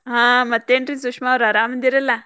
ಹಾ ಮತ್ತೇನ್ರೀ ಸುಷ್ಮಾ ಅವ್ರ ಆರಾಮದಿರಲ್ಲ?